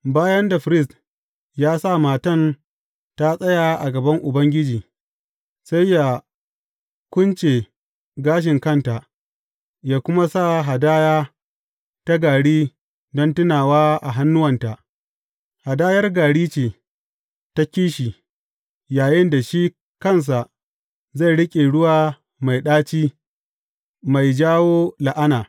Bayan da firist ya sa matan ta tsaya a gaban Ubangiji, sai yă kunce gashin kanta, yă kuma sa hadaya ta gari don tunawa a hannuwanta, hadayar gari ce ta kishi, yayinda shi kansa zai riƙe ruwa mai ɗaci, mai jawo la’ana.